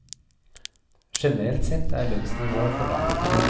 Generelt sett er lønnsnivået for lavt.